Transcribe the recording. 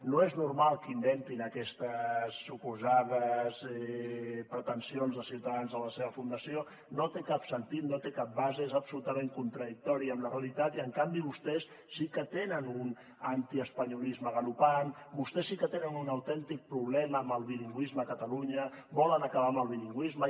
no és normal que inventin aquestes suposades pretensions de ciutadans en la seva fundació no té cap sentit no té cap base és absolutament contradictori amb la realitat i en canvi vostès sí que tenen un antiespanyolisme galopant vostès sí que tenen un autèntic problema amb el bilingüisme a catalunya volen acabar amb el bilingüisme